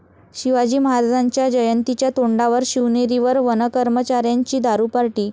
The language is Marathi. शिवाजी महाराजांच्या जयंतीच्या तोंडावर शिवनेरीवर वनकर्मचाऱ्यांची दारू पार्टी!